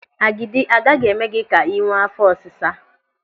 Agidi agaghị eme gị ka ị nwee áfọ́ ọsịsa.